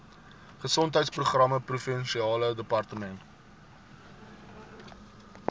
gesondheidsprogramme provinsiale departement